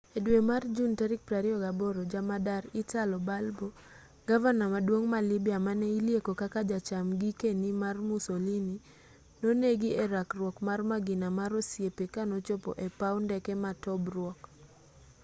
e dwe mar jun 28 jamadar italo balbo gavana maduong' ma lybia mane ilieko kaka jacham gikeni mar musolini nonegi e rakruok mar magina mar osiepe kanochopo e paw ndeke ma tobruk